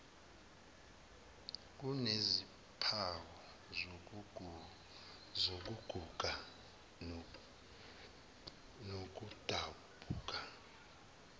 kunezimpawu zokuguga nokudabuka